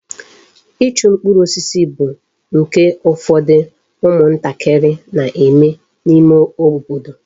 Ịchụ mkpụrụ osisi bụ nke ụfọdụ ụmụ ntakịrị na-eme n'ime obodo.